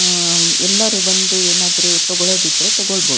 Am ಎಲ್ಲಾರು ಬಂದು ಏನಾದ್ರು ತೆಗೋಳೋದಿದ್ರೆ ತಗೋಳ್ ಬಹುದ್.